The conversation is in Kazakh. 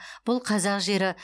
бұл қазақ жері